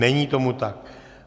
Není tomu tak.